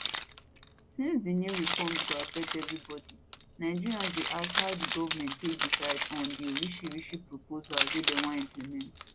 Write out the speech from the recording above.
since di new reforms go affect evri body nigerians dey ask how di goment take decide on di orishirishi proposals wey dem wan implement